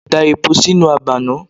Da epo sínú àgbá náà.